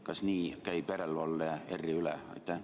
Kas nii tehaksegi järelevalvet ERR-i üle?